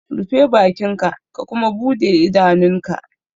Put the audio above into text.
Rufe bakinka ka kuma bude idanunka!